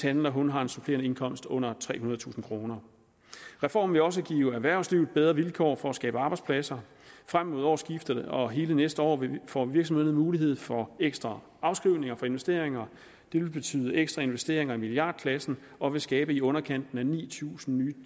han eller hun har en supplerende indkomst under trehundredetusind kroner reformen vil også give erhvervslivet bedre vilkår for at skabe arbejdspladser frem mod årsskiftet og hele næste år får virksomhederne mulighed for ekstra afskrivninger for investeringer det vil betyde ekstra investeringer i milliardklassen og vil skabe i underkanten af ni tusind nye